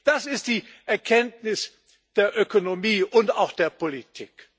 Das ist die Erkenntnis der Ökonomie und auch der Politik.